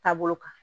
Taabolo kan